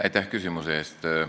Aitäh küsimuse eest!